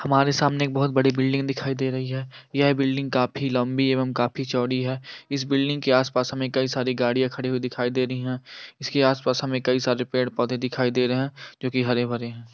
हमारे सामने एक बोहत बड़ी बिल्डिंग दिखाई दे रही है यह बिल्डिंग काफी लम्बी एवं काफी चोड़ी है इस बिल्डिंग के आस-पास हमें कई सारी गाड़ियां खड़ी हुई दिखाई दे रही है इसके आस-पास हमें कई सारे पेड़-पौधे दिखाई दे रहे है जोकी हरे-भरे है।